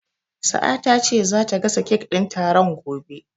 Sa'a ta ce zata gasa kek din taron gobe.